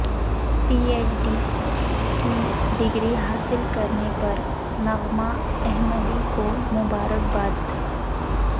پی H D کی degree حاصل کرنے پر نغمہ احمدی کو مبارکباد